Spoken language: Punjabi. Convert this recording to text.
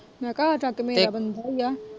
ਮੈਂ ਕਿਹਾ ਜਦ ਮੇਰਾ ਬੰਦਾ ਹੀ ਏ।